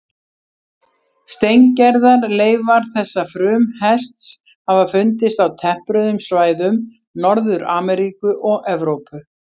Steingerðar leifar þessa frumhests hafa fundist á tempruðum svæðum Norður-Ameríku og Evrópu.